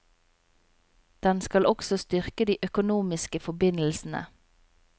Den skal også styrke de økonomiske forbindelsene.